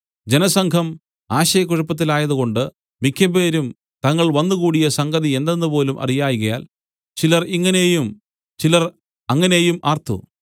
ജനസംഘം ആശയക്കുഴപ്പത്തിലായതുകൊണ്ട് മിക്കപേരും തങ്ങൾ വന്നുകൂടിയ സംഗതി എന്തെന്നുപോലും അറിയായ്കയാൽ ചിലർ ഇങ്ങനെയും ചിലർ അങ്ങനെയും ആർത്തു